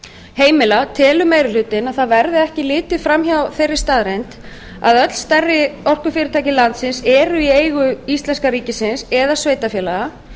heimila telur meiri hlutinn að ekki verði litið fram hjá þeirri staðreynd að öll stærri orkufyrirtæki landsins eru í eigu íslenska ríkisins eða sveitarfélaga